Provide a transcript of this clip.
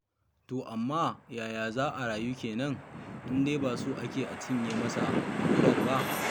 To amma ta yaya za a rayu kenan, in dai ba so ake a cinye masa kurar ba?